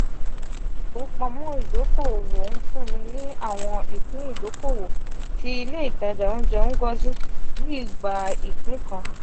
ile-ifowopamọ idoko-owo nfun ni awọn ipin idokowo ti ile itaja ounjẹ ngozi ni igba ipin kan.